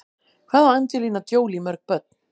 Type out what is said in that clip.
Hvað á Angelina Jolie mörg börn?